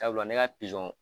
Sabula ne ka pizɔn